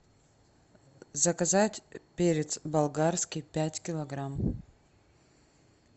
заказать перец болгарский пять килограмм